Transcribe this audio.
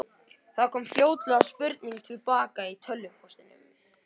Það kom fljótlega spurning til baka í tölvupóstinum.